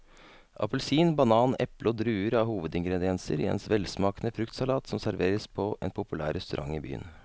Appelsin, banan, eple og druer er hovedingredienser i en velsmakende fruktsalat som serveres på en populær restaurant i byen.